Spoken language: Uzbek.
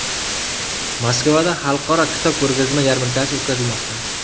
Moskvada Xalqaro kitob ko‘rgazma yarmarkasi o‘tkazilmoqda.